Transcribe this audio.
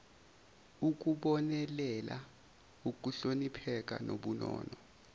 ukubonelela ukuhlonipheka nobunono